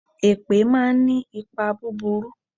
Èpè máa ń ní ipa búburú.